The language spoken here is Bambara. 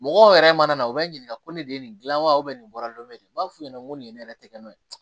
Mɔgɔw yɛrɛ mana na u bɛ ɲininka ko ne de ye nin dilan wa nin bɔra n bɛ n b'a f'u ɲɛna nin ye ne yɛrɛ tɛgɛnɔ ye